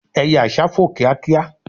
eye àsá fò kíákíá